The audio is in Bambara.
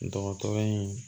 Dɔgɔtɔrɔ in